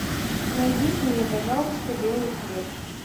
найдите мне пожалуйста белый хлеб